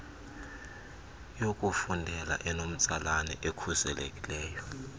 yokufundela enomtsalane nekhuselekileyo